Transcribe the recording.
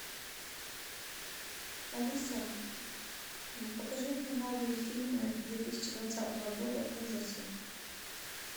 алиса покажи мне новые фильмы две тысячи двадцатого года ужасы